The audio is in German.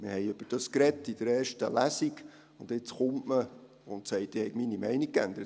Wir sprachen in der ersten Lesung darüber, und jetzt kommt man, und sagt, ich hätte meine Meinung geändert.